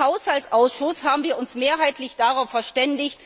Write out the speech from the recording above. Im Haushaltsausschuss haben wir uns mehrheitlich darauf verständigt,